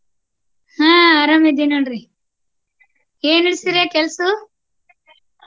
ಆಹ್ ಅರಾಮ ಇದಿನ ನೋಡ್ರಿ ಏನ ನಡ್ಸಿರಾ ಕೆಲ್ಸು?